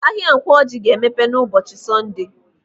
Ahịa Nkwọ Ọjị ga-emepe n'ụbọchị Sọnde.